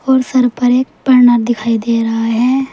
और सर पर एक दिखाई दे रहा है।